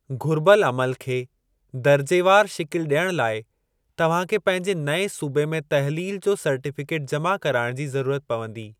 घुरिबलु अमलु खे दर्जेवार शिकिलि ॾियणु लाइ तव्हां खे पंहिंजे नएं सूबे में तहलील जो सर्टीफ़िकेट जमा कराइणु जी ज़रूरत पवंदी।